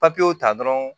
Papiyew ta dɔrɔn